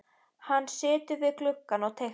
Hann situr við gluggann og teiknar.